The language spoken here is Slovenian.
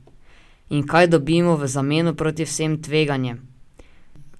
In kaj dobimo v zameno proti vsem tveganjem?